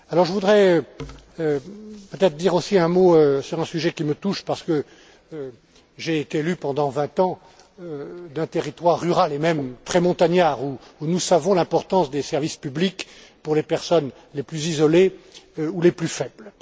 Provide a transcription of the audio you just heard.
Je voudrais dire aussi un mot sur un sujet qui me touche, parce que j'ai été l'élu, pendant vingt ans, d'un territoire rural et même très montagnard, où nous savons l'importance des services publics pour les personnes les plus isolées ou les plus faibles.